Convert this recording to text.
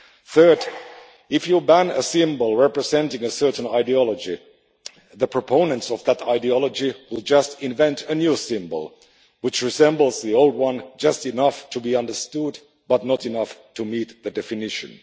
Third, if you ban a symbol representing a certain ideology, the proponents of that ideology will just invent a new symbol which resembles the old one just enough to be understood, but not enough to meet the definition.